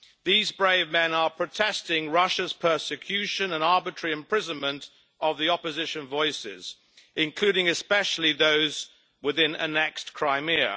These brave men are protesting against Russia's persecution and arbitrary imprisonment of opposition voices, including especially those within annexed Crimea.